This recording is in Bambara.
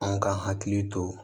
Anw ka hakili to